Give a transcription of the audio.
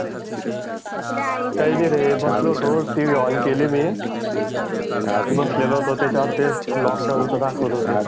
काय नाही रे बसलो होतो टीव्ही ऑन केली मी बसलेलो होतो त्याच्यावर तेच ला लॉकडाउन च दाखवत होते.